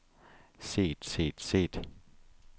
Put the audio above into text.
set set set